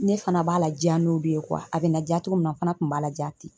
Ne fana b'a ladiya n'o de ye . A bɛ na diya cogo min na n fana kun b'a ladiya ten.